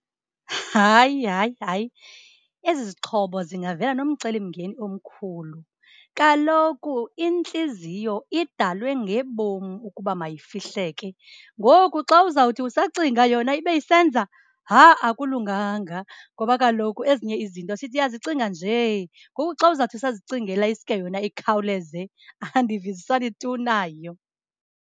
Hayi, hayi, hayi, ezi zixhobo zingavela nomcelimngeni omkhulu. Kaloku intliziyo idalwe ngebom ukuba mayifihleke, ngoku xa uzawuthi usacinga yona ibe isenza, ha-ah, akulunganga. Ngoba kaloku ezinye izinto siyazicinga njee, ngoku xa uzawuthi usazicingela isuke yona ikhawuleze andivisisani tu nayo.